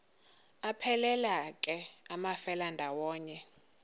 aphelela ke amafelandawonye